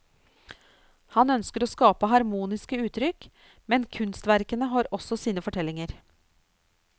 Han ønsker å skape harmoniske uttrykk, men kunstverkene har også sine fortellinger.